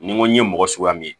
Ni n ko n ye mɔgɔ suguya min ye